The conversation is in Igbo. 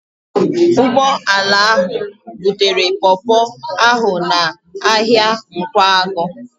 Ụgbọala ahụ butere pọpọ ahụ n'ahịa Nkwagụ